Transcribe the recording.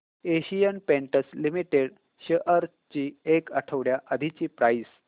Asian paints limited shares ची एक आठवड्या आधीची प्राइस